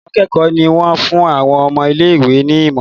Àwọn akékòó ní wón fún àwọn ọmọ ilé ìwé ní imo.